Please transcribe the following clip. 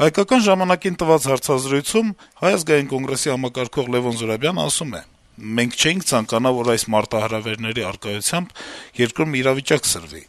«Հայկական ժամանակ»-ի հետ հարցազրույցում Հայ ազգային կոնգրեսի համակարգող Լեւոն Զուրաբյանն ասում է. - «Մենք չէինք ցանկանա, որ այս մարտահրավերների առկայությամբ երկրում իրավիճակ սրվի,